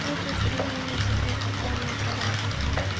ये तस्वीर में मुझे एक दुकान नजर आ रही है।